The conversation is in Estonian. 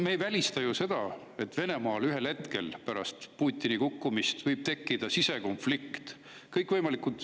Me ei välista ju seda, et Venemaal ühel hetkel pärast Putini kukkumist võib tekkida sisekonflikt.